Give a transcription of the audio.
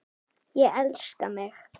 Ég elska mig!